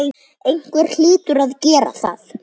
Einhver hlýtur að gera það.